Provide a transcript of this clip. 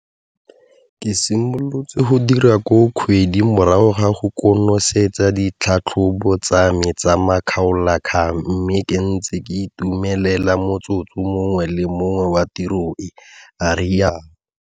Ke simolotse go dira koo kgwedi morago ga go konosetsa ditlhatlhobo tsame tsa makgaolakgang mme ke ntse ke itumelela motsotso mongwe le mongwe wa tiro e, a rialo.